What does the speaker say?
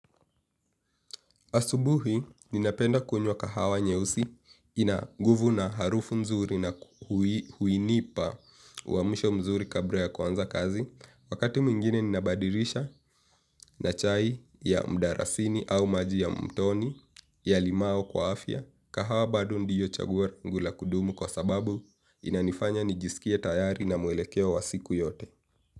Asubuhi ninapenda kunywa kahawa nyeusi ina nguvu na harufu mzuri na huinipa uamsho mzuri kabla ya kuanza kazi. Wakati mwingine ninabadilisha na chai ya mdalasini au maji ya mtoni ya limao kwa afya. Kahawa bado ndiyo chaguo langu la kudumu kwa sababu inanifanya nijisikie tayari na mwelekeo wa siku yote.